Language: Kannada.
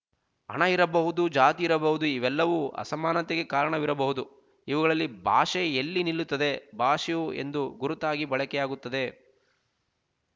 ಹಣ ಇರಬಹುದು ಜಾತಿ ಇರಬಹುದು ಇವೆಲ್ಲವೂ ಅಸಮಾನತೆಗೆ ಕಾರಣವಿರಬಹುದು ಇವುಗಳಲ್ಲಿ ಭಾಷೆ ಎಲ್ಲಿ ನಿಲ್ಲುತ್ತದೆ ಭಾಷೆಯು ಒಂದು ಗುರುತಾಗಿ ಬಳಕೆಯಾಗುತ್ತದೆ